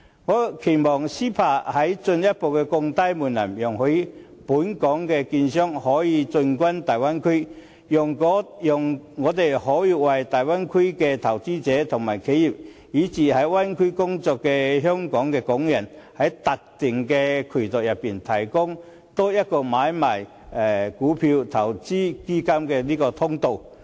我期望 CEPA 能進一步降低門檻，容許本港的券商可以進軍大灣區，讓他們可以為大灣區的投資者和企業，以至在灣區內工作的香港人，除了在特定的渠道外，提供多一項買賣股票，投資基金的通道。